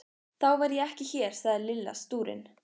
Þá verð ég ekki hér sagði Lilla stúrin.